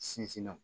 Sinsinna